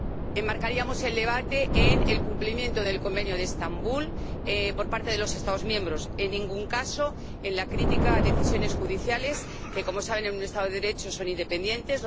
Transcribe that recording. Enmarcaríamos el debate en el cumplimiento del Convenio de Estambul por parte de los Estados miembros, en ningún caso en la crítica a decisiones judiciales que, como saben, en un Estado de Derecho son independientes.